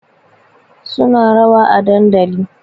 Suna rawa a dandali